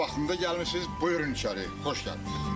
Lap vaxtında gəlmisiz, buyurun içəri, xoş gəlmisiz.